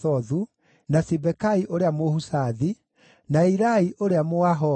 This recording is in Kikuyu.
na Sibekai ũrĩa Mũhushathi, na Ilai ũrĩa Mũahohi,